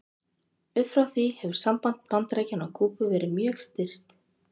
Upp frá því hefur samband Bandaríkjanna og Kúbu verið mjög stirt.